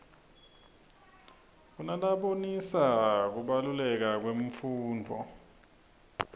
kunalabonisa kubaluleka kwemfundvo